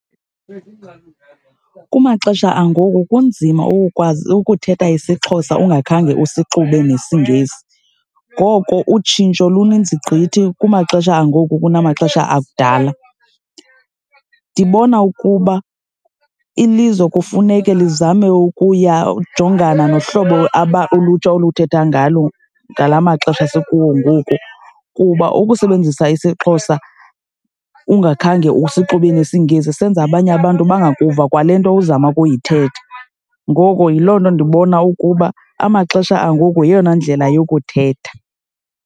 Kumaxesha angoku kunzima ukukwazi ukuthetha isiXhosa ungakhange usixube nesiNgesi. Ngoko utshintsho luninzi gqithi kumaxesha angoku kunamaxesha akudala. Ndibona ukuba ilizwe kufuneke lizame ukuya, ujongana nohlobo ulutsha oluthetha ngalo ngala maxesha sikuwo ngoku, kuba ukusebenzisa isiXhosa ungakhange usixube nesiNgesi senza abanye abantu bangakuva kwale nto uzama ukuyithetha. Ngoko yiloo nto ndibona ukuba amaxesha angoku yeyona ndlela yokuthetha.